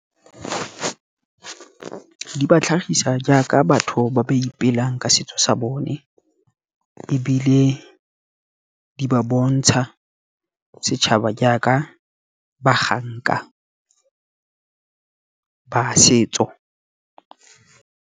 Di ba tlhagisa jaaka batho ba ba ipelang ka setso sa bone, ebile di ba bontsha setšhaba jaaka baganka ba setso.